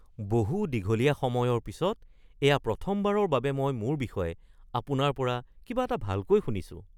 বহু দীঘলীয়া সময়ৰ পিছত এয়া প্ৰথমবাৰৰ বাবে মই মোৰ বিষয়ে আপোনাৰ পৰা কিবা এটা ভালকৈ শুনিছোঁ।